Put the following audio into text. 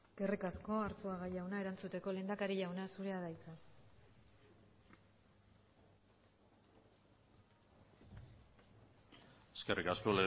eskerrik asko arzuaga jauna erantzuteko lehendakari jauna zurea da hitza eskerrik asko